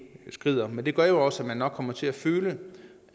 skrider men det gør også at man nok kommer til at føle